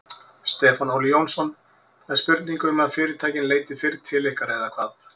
Stefán Óli Jónsson: Það er spurning um að fyrirtækin leiti fyrr til ykkar eða hvað?